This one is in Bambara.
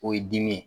O ye dimi ye